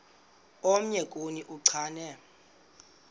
omnye kuni uchane